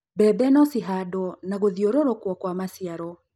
mbembe no cihandūo na gūthiūrūrūkūo kwa maciaro